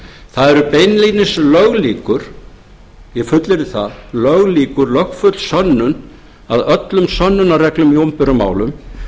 það er beinlínis löglíkur ég fullyrði það löglíkur lögfull sönnun að öllum sönnunarreglum í opinberum málum